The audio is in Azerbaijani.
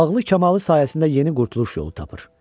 Ağıl-kamalı sayəsində yeni qurtuluş yolu tapır.